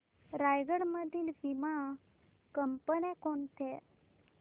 रायगड मधील वीमा कंपन्या कोणत्या